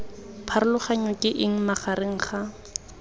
pharologano ke eng magareng ga